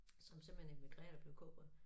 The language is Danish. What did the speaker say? Som simpelthen immigrerede og blev cowboy